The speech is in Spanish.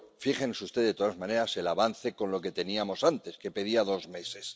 pero fíjense ustedes, de todas maneras, en el avance con lo que teníamos antes, que pedía dos meses.